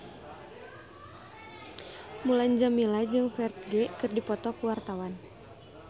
Mulan Jameela jeung Ferdge keur dipoto ku wartawan